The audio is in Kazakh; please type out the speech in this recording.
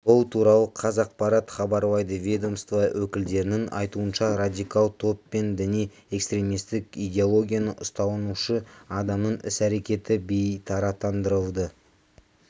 бұл туралы қазақпарат хабарлайды ведомство өкілдерінің айтуынша радикал топ пен діни-экстремистік идеологияны ұстанушы адамның іс-әрекеті бейтараптандырылды